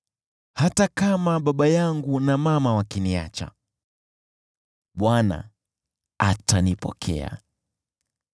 Hata kama baba yangu na mama wakiniacha, Bwana atanipokea.